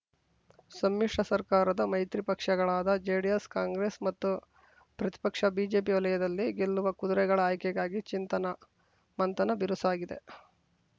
ಸಮ್ಮಿಶ್ರ ಸರ್ಕಾರದ ಮೈತ್ರಿ ಪಕ್ಷಗಳಾದ ಜೆಡಿಎಸ್ ಕಾಂಗ್ರೆಸ್ ಮತ್ತು ಪ್ರತಿಪಕ್ಷ ಬಿಜೆಪಿ ವಲಯದಲ್ಲಿ ಗೆಲ್ಲುವ ಕುದುರೆಗಳ ಆಯ್ಕೆಗಾಗಿ ಚಿಂತನ ಮಂಥನ ಬಿರುಸಾಗಿದೆ